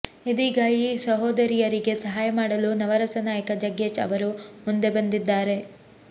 ಇದೀಗ ಈ ಸಹೋದರಿಯರಿಗೆ ಸಹಾಯಮಾಡಲು ನವರಸ ನಾಯಕ ಜಗ್ಗೇಶ್ ಅವರು ಮುಂದೆ ಬಂದಿದ್ದಾರೆ